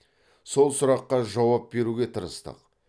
сол сұраққа жауап беруге тырыстық